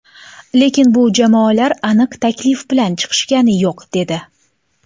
Lekin bu jamoalar aniq taklif bilan chiqishgani yo‘q” dedi.